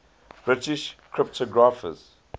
british cryptographers